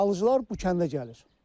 Alıcılar bu kəndə gəlir.